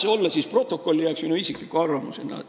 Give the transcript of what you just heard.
Aga las see läheb stenogrammi minu isikliku arvamusena.